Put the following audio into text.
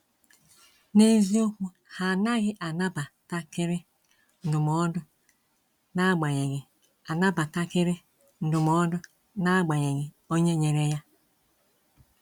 N’eziokwu, ha anaghị anabatakịrị ndụmọdụ n’agbanyeghị anabatakịrị ndụmọdụ n’agbanyeghị onye nyere ya.